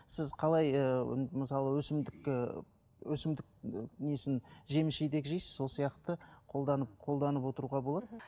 сіз қалай ыыы мысалы өсімдік ііі өсімдік несін жеміс жидек жейсіз сол сияқты қолданып қолданып отыруға болады